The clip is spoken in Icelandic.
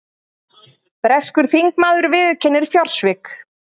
Breskur þingmaður viðurkennir fjársvik